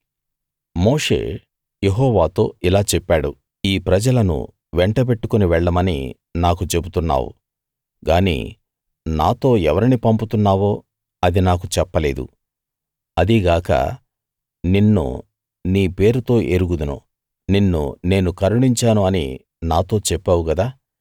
మోషే యెహోవాతో ఇలా చెప్పాడు ఈ ప్రజలను వెంటబెట్టుకుని వెళ్ళమని నాకు చెబుతున్నావు గానీ నాతో ఎవరిని పంపుతున్నావో అది నాకు చెప్పలేదు అదీగాక నిన్ను నీ పేరుతో ఎరుగుదును నిన్ను నేను కరుణించాను అని నాతో చెప్పావు కదా